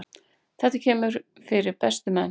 Þetta kemur fyrir bestu menn.